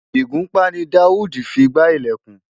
Ìgúnpá ni Daud fi gbá ilẹ̀kùn.